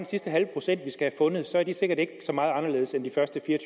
sidste halve procent vi skal fundet så er de sikkert ikke så meget anderledes end de første fire og